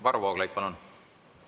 Varro Vooglaid, palun!